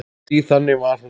Því þannig var hún.